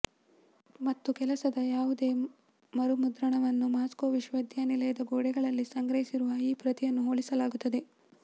ಮತ್ತು ಕೆಲಸದ ಯಾವುದೇ ಮರುಮುದ್ರಣವನ್ನು ಮಾಸ್ಕೋ ವಿಶ್ವವಿದ್ಯಾನಿಲಯದ ಗೋಡೆಗಳಲ್ಲಿ ಸಂಗ್ರಹಿಸಿರುವ ಈ ಪ್ರತಿಯನ್ನು ಹೋಲಿಸಲಾಗುತ್ತದೆ